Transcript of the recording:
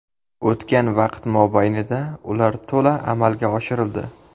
O‘tgan vaqt mobaynida ular to‘la amalga oshirildi.